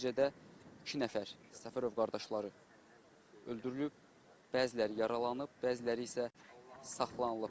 Nəticədə iki nəfər Səfərov qardaşları öldürülüb, bəziləri yaralanıb, bəziləri isə saxlanılıb.